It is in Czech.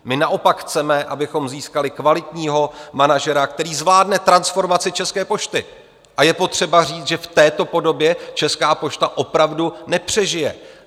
My naopak chceme, abychom získali kvalitního manažera, který zvládne transformaci České pošty, a je potřeba říci, že v této podobě Česká pošta opravdu nepřežije.